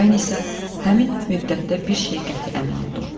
Mən isə həmin müddətdə bir şeyə qəti əmin oldum: